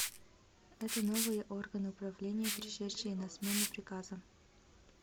это новые органы управления пришедшие на смену приказам